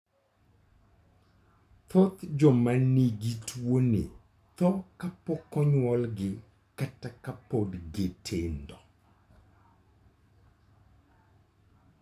Thoth joma nigi tuwoni tho kapok onyuolgi kata ka pod gitindo.